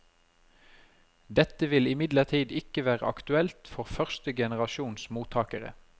Dette vil imidlertid ikke være aktuelt for første generasjons mottakere.